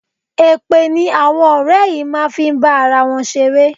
Èpè ni àwọn ọ̀rẹ́ yìí máa ń fi ń bá ara wọn ṣeré.